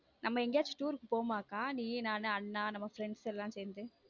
நம்ம எங்கயாச்சு tour க்கு போவோமா அக்கா? நீ நானு அண்ணா நம்ம friends லாம் சேர்ந்து.